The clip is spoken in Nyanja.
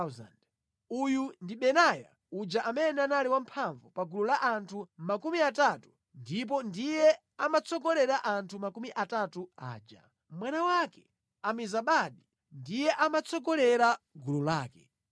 Uyu ndi Benaya uja amene anali wamphamvu pa gulu la anthu makumi atatu ndipo ndiye amatsogolera anthu makumi atatu aja. Mwana wake Amizabadi ndiye amatsogolera gulu lake.